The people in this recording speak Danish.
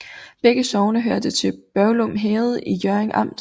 Begge sogne hørte til Børglum Herred i Hjørring Amt